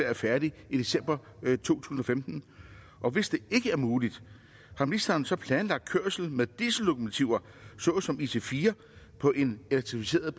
er færdig i december 2015 og hvis det ikke er muligt har ministeren så planlagt kørsel med diesellokomotiver såsom ic4 på en elektrificeret